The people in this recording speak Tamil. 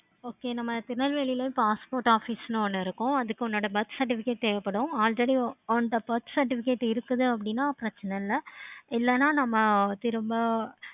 okay நம்ம திருநெல்வேலியையும் passport office ஒன்னு இருக்கும். அதுக்கு உன்னோட birth certificate தேவைப்படும். already உண்ட birth certificate இருக்குது அப்படினா பிரச்சன இல்லை. இல்லைனா நம்ம திரும்ப